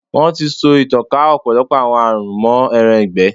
Wọ́n ti so ìtànká ọ̀pọ̀lọpọ̀ àwọn àrùn mọ́ ẹran ìgbẹ́.